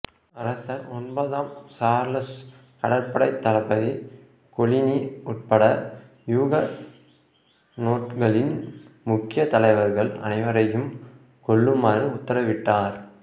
அரசர் ஒன்பதாம் சார்லசு கடற்படைத் தளபதி கொலினி உட்பட இயூகனொட்களின் முக்கிய தலைவர்கள் அனைவரையும் கொல்லுமாறு உத்தரவிட்டார்